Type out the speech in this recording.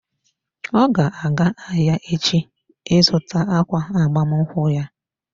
Ọ ga-aga ahịa echi ị zụta ákwà agbamakwụkwọ ya.